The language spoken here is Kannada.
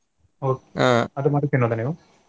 Okay ಅದು ಮಾತ್ರ ತಿನ್ನೋದ ನೀವು?